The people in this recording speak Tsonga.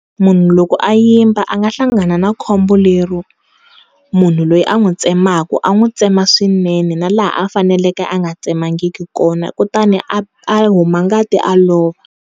Munhu loko a yimba a nga hlangana na khombo lero, munhu loyi a n'wi tsemaka a n'wi tsema swinene na laha a faneleke a nga tsemangi kona kutani a huma ngati a lova.